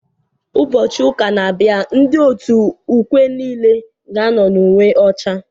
Ụbọchị ụka na-abịa, ndị otu ukwe niile ga-ano n' uwe ọcha.